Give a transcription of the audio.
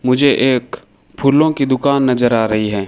मुझे एक फूलों की दुकान नजर आ रही है।